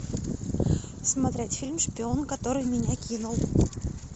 смотреть фильм шпион который меня кинул